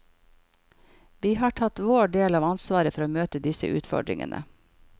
Vi har tatt vår del av ansvaret for å møte disse utfordringene.